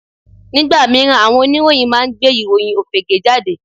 Nígbà míràn àwọn oníròyìn máa ń gbé ìròyìn òfegè jáde